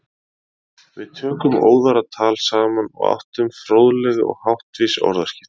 Við tókum óðara tal saman og áttum fróðleg og háttvís orðaskipti.